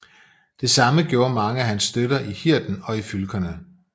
Det samme gjorde mange af hans støtter i Hirden og i fylkerne